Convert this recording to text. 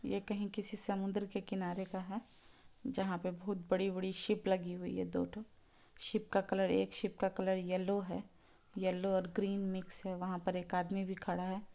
यह कहीं किसी समुंदर के किनारे का है जहा पे बहुत बड़ी-बड़ी शिप लगी हुई है दो ठो शिप का कलर एक शिप का कलर येलो हैं। येल्लो और ग्रीन मिक्स है वहा पर एक आदमी भी खड़ा है।